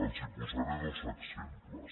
els posaré dos exemples